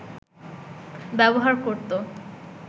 ব্যবহার করত